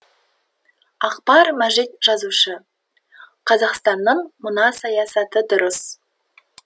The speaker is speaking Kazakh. акбар мәжит жазушы қазақстанның мына саясаты дұрыс